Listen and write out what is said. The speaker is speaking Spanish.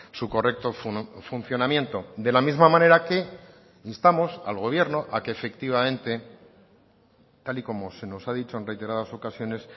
su correcto funcionamiento de la misma manera que instamos al gobierno a que efectivamente tal y como se nos ha dicho en reiteradas ocasiones